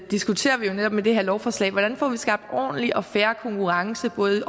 diskuterer vi jo netop med det her lovforslag hvordan vi får skabt en ordentlig og fair konkurrence både